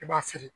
I b'a feere